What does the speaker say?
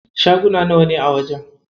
Shaguna nawane a wajen?